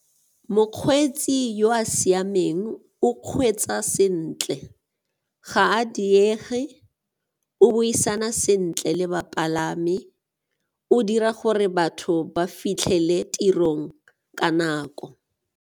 Mokgweetsi yo a siameng o kgweetsa sentle, ga a diege, o buisana sentle le bapalami o dira gore batho ba fitlhele tirong ka nako.